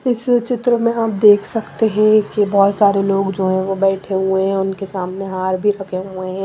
इस चित्र में आप देख सकते हैं कि बहुत सारे लोग जो है वो बैठे हुए हैं उनके सामने हार भी रखे हुए हैं।